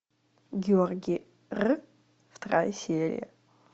георгий р вторая серия